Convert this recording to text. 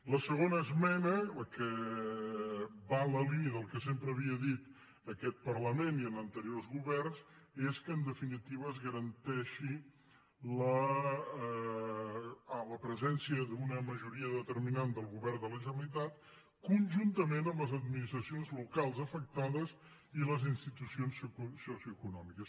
la segona esmena la que va en la línia del que sempre havien dit aquest parlament i anteriors governs és que en definitiva es garanteixi la presència d’una majoria determinant del govern de la generalitat conjuntament amb les administracions locals afectades i les institucions socioeconòmiques